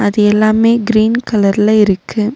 இது எல்லாமே கிரீன் கலர்ல இருக்கு.